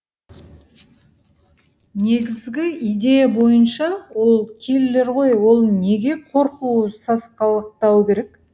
негізгі идея бойынша ол киллер ғой ол неге қорқуы сасқалақтауы керек